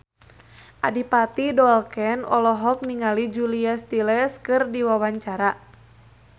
Adipati Dolken olohok ningali Julia Stiles keur diwawancara